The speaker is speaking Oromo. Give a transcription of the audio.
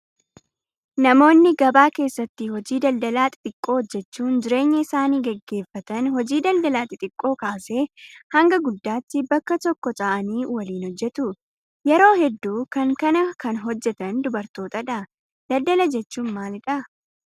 Namoonni gabaa keessatti hojii daldalaa xixiqqoo hojjachuun jireenya isaanii gaggeeffatan hojii daldalaa xixiqqoo kaasee haga guddaatti bakka tokko taa'anii waliin hojjatu. Yeroo hedduu kan kana kan hojjatan dubartoota. Daldala jechuun maalidhaa?